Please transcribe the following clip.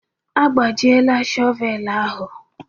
Agbajiela shọvel ahụ